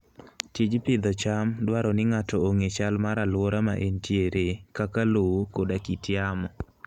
Tij pidho cham dwaro ni ng'ato ong'e chal mar alwora ma entiere, kaka lowo koda kit yamo.